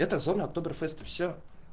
это зона октоберфеста все